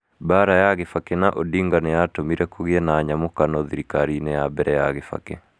mbara ya Gibaki na Odinga nĩ yatũmire kũgĩe na nyamũkano thirikari-inĩ ya mbere ya Kibaki.